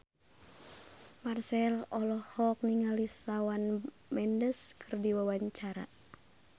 Marchell olohok ningali Shawn Mendes keur diwawancara